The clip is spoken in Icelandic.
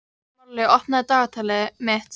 Marley, opnaðu dagatalið mitt.